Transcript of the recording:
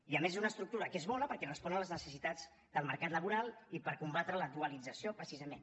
i a més és una estructura que és bona perquè respon a les necessitats del mercat laboral i per combatre la dualització precisament